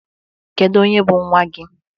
Kedu onye bụ nwa gị?